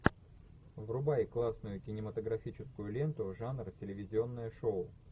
врубай классную кинематографическую ленту жанра телевизионное шоу